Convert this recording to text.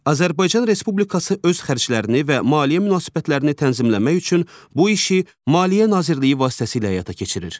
Azərbaycan Respublikası öz xərclərini və maliyyə münasibətlərini tənzimləmək üçün bu işi Maliyyə Nazirliyi vasitəsilə həyata keçirir.